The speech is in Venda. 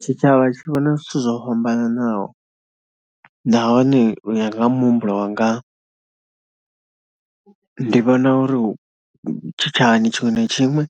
Tshitshavha tshi vhona zwithu zwo fhambananaho nahone u ya nga muhumbulo wanga, ndi vhona uri tshitshavhani tshiṅwe na tshiṅwe